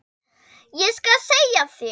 Ég skal segja þér